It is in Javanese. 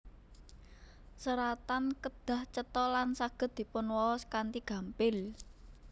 Seratan kedah cetha lan saged dipunwaos kanthi gampil